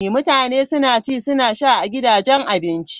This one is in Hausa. Mutane suna ci suna sha a gidajen abinci.